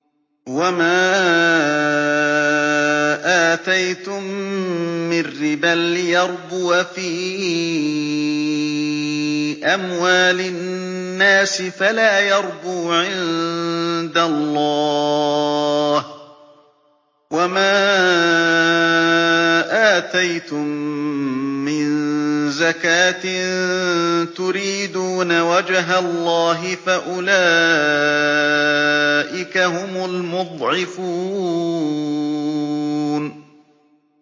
وَمَا آتَيْتُم مِّن رِّبًا لِّيَرْبُوَ فِي أَمْوَالِ النَّاسِ فَلَا يَرْبُو عِندَ اللَّهِ ۖ وَمَا آتَيْتُم مِّن زَكَاةٍ تُرِيدُونَ وَجْهَ اللَّهِ فَأُولَٰئِكَ هُمُ الْمُضْعِفُونَ